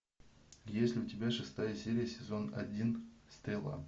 есть ли у тебя шестая серия сезон один стрела